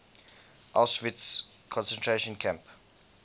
auschwitz concentration camp